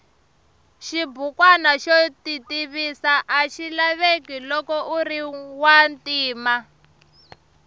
xibukwana xo titivisa axilaveka loko uriwantima